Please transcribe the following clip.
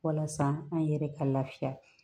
Walasa an yɛrɛ ka lafiya